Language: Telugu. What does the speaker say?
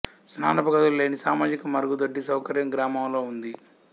స్నానపు గదులు లేని సామాజిక మరుగుదొడ్డి సౌకర్యం గ్రామంలో ఉంది